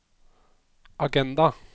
agenda